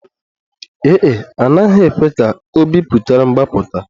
Ee e, a naghị ekwe ka ọ biputere mgbapụta